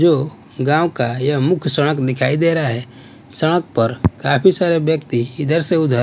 जो गांव का यह मुख्य संड़क दिखाई दे रहा है संड़क पर काफी सारे ब्यक्ति इधर से उधर--